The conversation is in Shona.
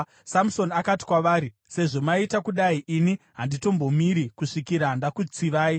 Samusoni akati kwavari, “Sezvo maita kudai, ini handitombomiri kusvikira ndakutsivai.”